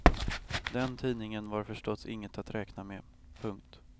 Den tidningen var förstås inget att räkna med. punkt